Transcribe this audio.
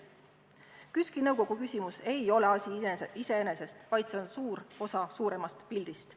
KÜSK-i nõukogu küsimus ei ole asi iseeneses, vaid see on suur osa suuremast pildist.